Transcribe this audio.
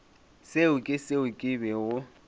seo ke seo ke bego